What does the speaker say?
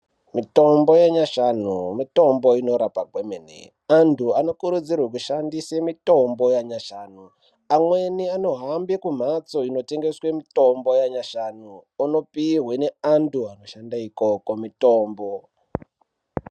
Mitombo yanyamashi mitombo inoshanda kwemene antu anokurudzirwa kushandisa mitombo yanyashanu amweni anohamba kumbatso inotengeswa mitombo yanyashanu unopihwa nenahu anoshanda ikoko mitombo.